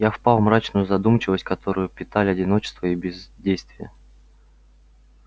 я впал в мрачную задумчивость которую питали одиночество и бездействие